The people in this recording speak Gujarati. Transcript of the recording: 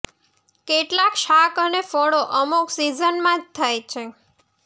કેટલાક શાક અને ફળો અમુક સિઝનમાં જ થાય છે